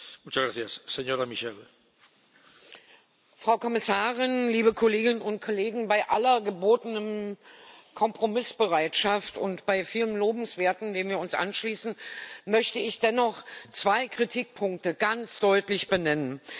Herr Präsident, Frau Kommissarin, liebe Kolleginnen und Kollegen! Bei aller gebotenen Kompromissbereitschaft und bei vielem Lobenswerten, dem wir uns anschließen, möchte ich dennoch zwei Kritikpunkte ganz deutlich benennen.